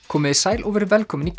komiði sæl og verið velkomin í